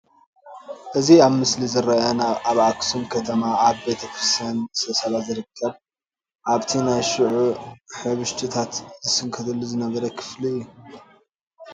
እዚ ኣብ ምስሊ ዝርአ ኣብ ኣኽሱም ከተማ ኣብ ቤተ መንግስቲ ንግስተ ሳባ ዝርከብ ኣብቲ ናይ ሽዑ ሕብሽትታት ይስንከተሉ ዝነበረ ክፍሊ እዩ፡፡